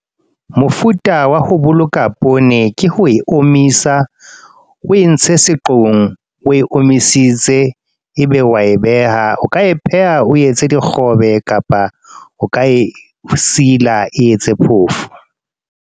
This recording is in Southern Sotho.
Mofuta wa ho boloka poone, ke ho e omisa. O entse seqong, o e omisitse. E be wa e beha. O ka e pheha o etse dikgobe, kapa o ka e sila, e etse phofo.